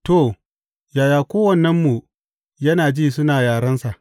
To, yaya kowannenmu yana ji suna yarensa?